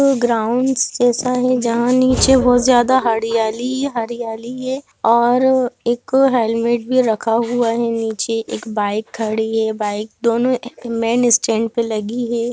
Ground जैसा है जहाँ नीचे बहुत ज़्यदा हडियाली हरियाली है और एक हेलमेट भी रखा हुआ है नीच एक बाइक खड़ी है बाइक दोनों मैन स्टैंड पे लगी है।